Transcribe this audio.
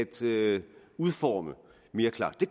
til at udforme mere klart det